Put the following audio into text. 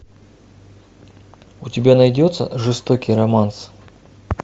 у тебя найдется жестокий романс